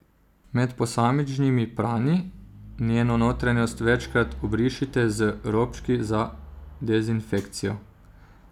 Med posamičnimi pranji njeno notranjost večkrat obrišite z robčki za dezinfekcijo.